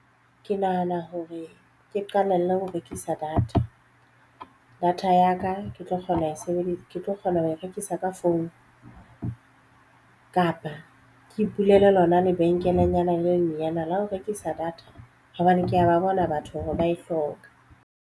Ke nahana hore ke qalelle ho rekisa data. Data ya ka ke tlo kgona ho e sebedisa ke tlo kgona ho e rekisa ka founu kapa ke ipulele lona lebenkelenyana le lenyenyana la ho rekisa data hobane ke ya ba bona batho hore ba e hloka.